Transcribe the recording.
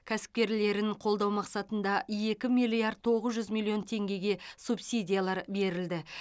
кәсіпкерлерін қолдау мақсатында екі миллиард тоғыз жүз миллион теңгеге субсидиялар берілді